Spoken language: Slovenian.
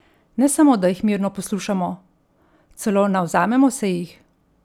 Ne samo da jih mirno poslušamo, celo navzamemo se jih!